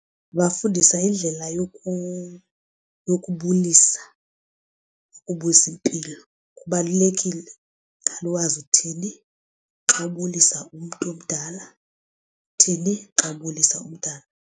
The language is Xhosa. Ndingabafundisa indlela yokubulisa nokubuza impilo. Kubalulekile uqala uwazi uthini xa ubulisa umntu omdala uthini xa ubulisa umntana.